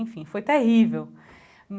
Enfim, foi terrível.